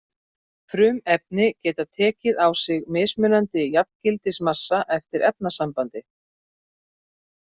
Frumefni geta tekið á sig mismunandi jafngildismassa eftir efnasambandi.